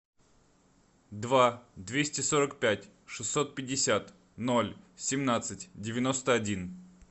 два двести сорок пять шестьсот пятьдесят ноль семнадцать девяносто один